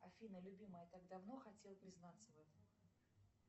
афина любимая я так давно хотел признаться в этом